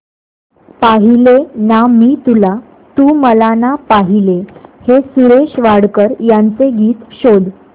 पाहिले ना मी तुला तू मला ना पाहिले हे सुरेश वाडकर यांचे गीत शोध